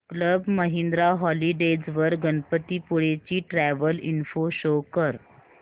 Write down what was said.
club Mahindra holidays वर गणपतीपुळे ची travel info show कर